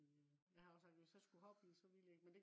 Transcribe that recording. jeg havde også sagt hvis jeg skulle hoppe i så ville jeg ikke